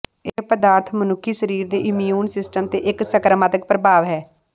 ਇਹ ਪਦਾਰਥ ਮਨੁੱਖੀ ਸਰੀਰ ਦੇ ਇਮਿਊਨ ਸਿਸਟਮ ਤੇ ਇੱਕ ਸਕਾਰਾਤਮਕ ਪ੍ਰਭਾਵ ਹੈ